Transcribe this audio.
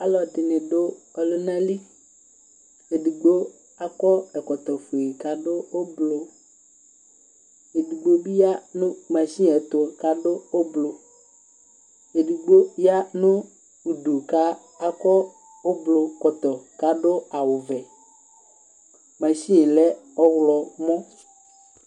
Alʋ ɛdɩnɩ dʋ ɔlʋna li, edigbo akɔ ɛkɔtɔ fue, kʋ adʋ ʋblʋ, edigbo bɩ ya nʋ masini yɛ ɛtʋ, kʋ adʋ ʋblʋ, edigbo ya nʋ udu kʋ akɔ ʋblʋkɔtɔ, kʋ adʋ awʋ vɛ, masini yɛ lɛ ɔɣlɔmɔ